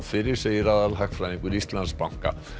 fyrir segir aðalhagfræðingur Íslandsbanka